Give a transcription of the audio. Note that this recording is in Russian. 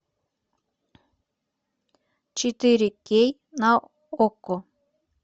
четыре кей на окко